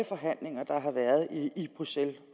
forhandlinger der har været i bruxelles